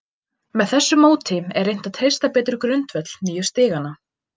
Með þessu móti er reynt að treysta betur grundvöll nýju stiganna.